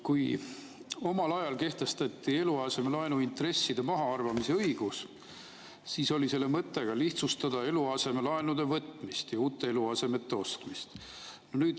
Kui omal ajal kehtestati eluasemelaenu intresside mahaarvamise õigus, siis oli selle mõte ka lihtsustada eluasemelaenude võtmist ja uute eluasemete ostmist.